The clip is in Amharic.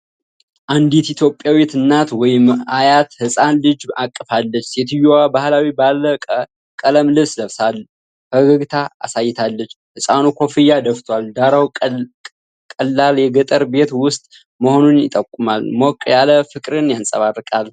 አንዲት ኢትዮጵያዊት እናት ወይም አያት ህፃን ልጅ አቅፋች። ሴትየዋ ባህላዊ ባለ ቀለም ልብስ ለብሳ፣ ፈገግታ አሳይታለች። ህፃኑ ኮፍያ ደፍቷል። ዳራው ቀላል የገጠር ቤት ውስጥ መሆኑን ይጠቁማል። ሞቅ ያለ ፍቅርን ያንጸባርቃል።